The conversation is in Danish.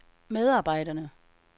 medarbejderne